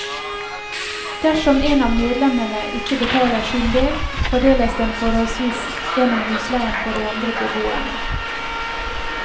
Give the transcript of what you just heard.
Dersom en av medlemmene ikke betaler sin del, fordeles den forholdsvis gjennom husleien på de andre beboerne.